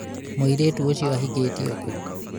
mũirĩtu ũcio ahĩkĩtĩo kũ?